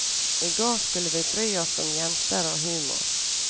I går skulle vi bry oss om jenter og humor.